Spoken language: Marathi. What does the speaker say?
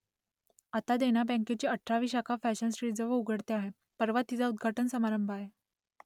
आता देना बँकेची अठरावी शाखा फॅशन स्ट्रीटजवळ उघडते आहे परवा तिचा उद्घाटन समारंभ आहे